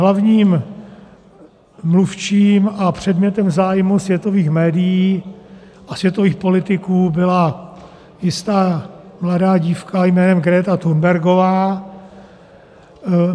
Hlavním mluvčím a předmětem zájmu světových médií a světových politiků byla jistá mladá dívka jménem Greta Thunbergová.